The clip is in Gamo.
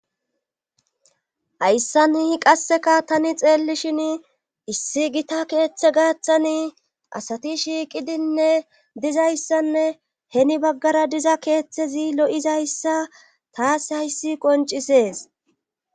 Hayssani qasseka tani xeellishini issi gita keetha gaathani asati shiiqidinne dizayssanne heni baggara diza keethezi lo7izayssa tas hayssi qonccises.